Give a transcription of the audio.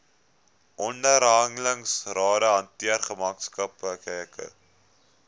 onderhandelingsrade hanteer gemeenskaplike